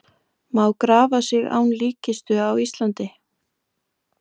Má láta grafa sig án líkkistu á Íslandi?